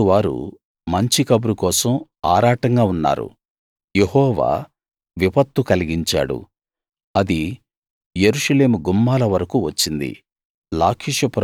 మారోతువారు మంచి కబురు కోసం ఆరాటంగా ఉన్నారు యెహోవా విపత్తు కలిగించాడు అది యెరూషలేము గుమ్మాల వరకూ వచ్చింది